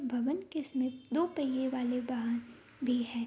भवन के समीप दो पहिये वाले वाहन भी है।